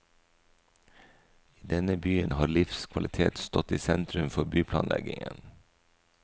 I denne byen har livskvalitet stått i sentrum for byplanleggingen.